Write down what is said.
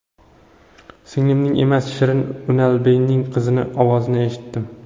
Singlimning emas, Shirin Unalbeyning qizining ovozini eshitdim.